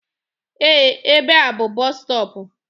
Ee, ebe a bú bọs stọọpu.